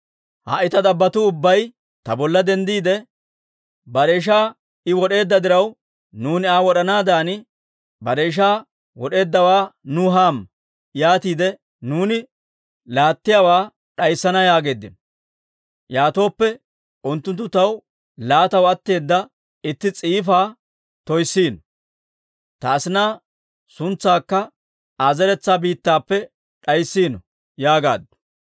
Ha"i ta dabbotuu ubbay ta bolla denddiide, ‹Bare ishaa I wod'eedda diraw, nuuni Aa wod'anaadan bare ishaa wod'eeddawaa nuw hamma; yaatiide nuuni laattiyaawaa d'ayissana yaageeddino.› Yaatooppe, unttunttu taw laataw atteeda itti s'iifaa toyssiino; ta asinaa suntsaakka Aa zeretsaa biittappe d'ayssiino» yaagaaddu.